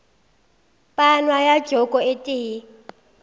panwa ka joko e tee